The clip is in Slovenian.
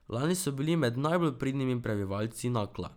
Lani so bili med najbolj pridnimi prebivalci Nakla.